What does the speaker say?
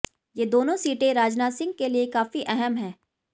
ये दोनों सीटे राजनाथ सिंह के लिए काफी अहम है